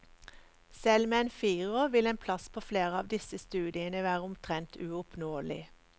Selv med en firer vil en plass på flere av disse studiene være omtrent uoppnåelig.